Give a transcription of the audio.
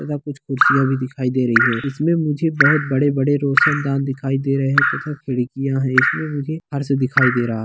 ज्यादा कुछ कुर्सियां भी दिखाई दे रही है इसमें मुझे बहोत बड़े-बड़े रोशन दान दिखाई दे रहे हैं तथा खिड़कियां है इसमें मुझे फर्स दिखाई दे रहा --